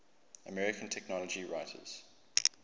american technology writers